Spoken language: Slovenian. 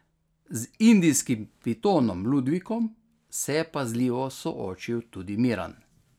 Z indijskim pitonom Ludvikom se je pazljivo soočil tudi Miran.